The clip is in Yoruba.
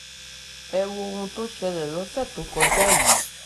ẹ wo ohun tó ṣẹlẹ̀ lọ́sẹ̀ tó kọjá yìí